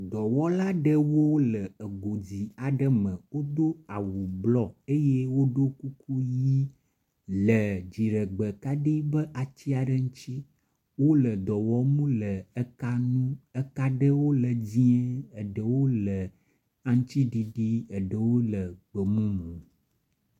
Dɔwɔla aɖewo wo le egui dzi aɖe me. Wodo awu blɔ eye woɖo kuku ʋi le dziɖegbekaɖi ƒe ati aɖe ŋuti. Wo le dɔ wɔm le eka ŋu. Eka aɖewo le dzie, eɖewo le aŋtsiɖiɖi, eɖewo gbemumu.